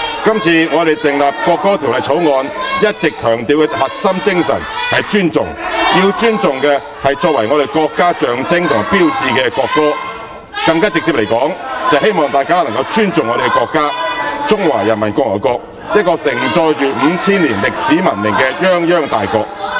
今次我們訂立《國歌條例草案》，一直強調的核心精神是尊重，要尊重的是作為我們國家象徵和標誌的國歌，更直接地說，是希望大家尊重我們的國家，即中華人民共和國，一個盛載了 5,000 年歷史文明的泱泱大國。